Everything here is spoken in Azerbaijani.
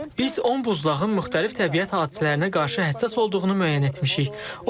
Biz 10 buzlağın müxtəlif təbiət hadisələrinə qarşı həssas olduğunu müəyyən etmişik.